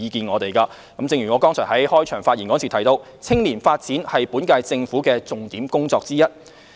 我剛才在開場發言提到，青年發展是本屆政府的重點工作之一。